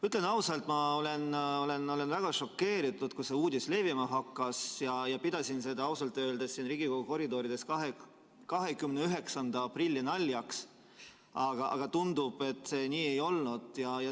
Ütlen ausalt, ma olin väga šokeeritud, kui see uudis levima hakkas, ja pidasin seda ausalt öeldes siin Riigikogu koridorides 29. aprilli naljaks, aga tundub, et see nii ei olnud.